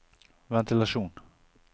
ventilasjon